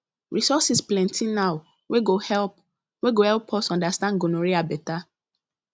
resources plenty now wey go help wey go help us understand gonorrhea better